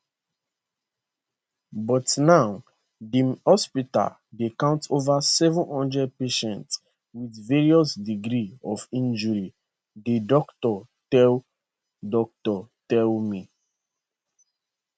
but now di hospital dey count over 700 patients with various degrees of injury di doctor tell doctor tell me